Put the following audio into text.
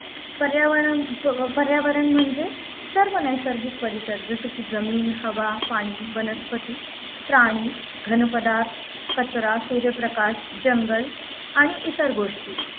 पर्यावरणाम प पर्यावरण म्हणजे सर्व नैसर्गिक परिसर जसे की जमीन हवा पाणी वनस्पती प्राणी घनपदार्थ कचरा सूर्यप्रकाश जंगल आणि इतर गोष्टी